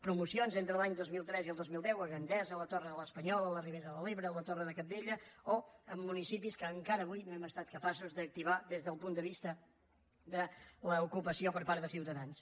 promocions entre l’any dos mil tres i el dos mil deu a gandesa a la torre de l’espanyol a la ribera d’ebre a la torre de cabdella o en municipis que encara avui no hem estat capaços d’activar des del punt de vista de l’ocupació per part de ciutadans